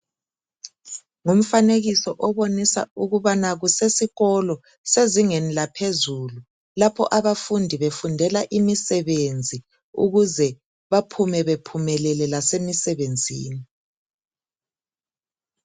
Ngumfanekiso obonisa ukuthi kusesikolo sezingeni laphezulu lapho abafundi befundela imisebenzi ukuze baphume bephumelele lasemisebenzini.